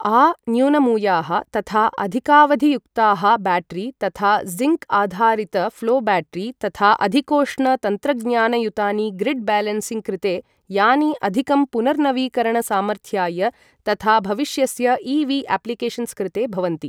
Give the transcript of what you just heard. आ न्यूनमूयाः तथा अधिकावधियुक्ताः ब्याटरि, यथा ज़िङ्क् आधारितं, ऴ्लो ब्याटरी, तथा अधिकोष्ण तन्त्रज्ञानयुतानि ग्रिड् ब्यालेन्सिङ्ग् कृते, यानि अधिकं पुनर्नवीकरणसामर्थ्याय तथा भविष्यस्य इ.वि.अप्लिकेशन्स् कृते भवन्ति।